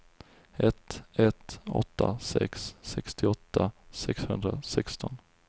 ett ett åtta sex sextioåtta sexhundrasexton